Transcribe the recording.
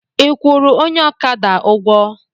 Ị kwụrụ onye ọkada ụgwọ?